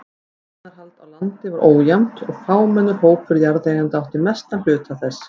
Eignarhald á landi var ójafnt og fámennur hópur jarðeigenda átti mestan hluta þess.